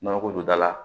Nɔnɔko don da la